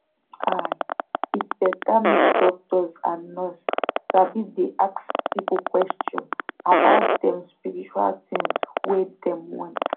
ahit beta make doctors and nurse sabi dey ask people questions about dem spiritual tins wey them want.